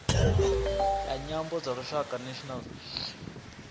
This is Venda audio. ya nyambo dza lushaka national